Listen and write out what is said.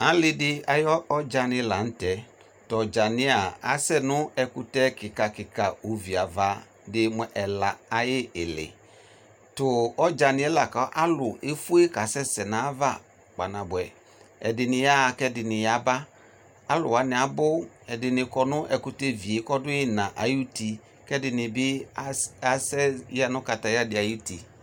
Alidi ayʋ ɔdzani lanʋ tɛ tʋ ɔdzani yɛa asɛnʋ ɛkʋtɛ kika kika oviava dii mʋ ɛla ayʋ ili tʋ ɔdzani yɛ lakʋ alʋ efue kasɛsɛ nʋ ayʋ ava kpaa nabʋɛ ɛdini yaɣa kʋ ɛdini yaba alʋ wani abʋ ɛdini kɔnʋ ɛkʋtɛvie kʋ ɔdʋ iina ayʋ ʋti kʋ ɛdinibi asɛya nʋ katayadi ayʋ ʋti